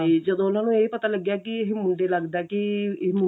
ਤੇ ਜਦੋਂ ਉਹਨਾ ਨੂੰ ਇਹ ਪਤਾ ਲੱਗਿਆ ਕਿ ਇਹ ਮੁੰਡੇ ਲੱਗਦਾ ਕੀ ਇਹ